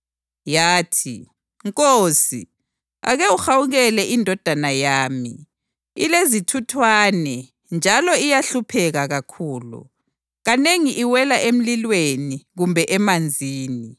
Yathi, “Nkosi, ake uhawukele indodana yami. Ilezithuthwane njalo iyahlupheka kakhulu. Kanengi iwela emlilweni kumbe emanzini.